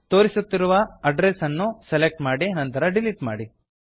ತೋರಿಸುತ್ತಿರುವ ಅಡ್ರೆಸ್ ಅನ್ನು ಸೆಲೆಕ್ಟ್ ಮಾಡಿ ನಂತರ ಡಿಲಿಟ್ ಮಾಡಿ